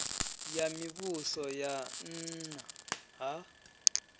ya mivhuso ya nna ha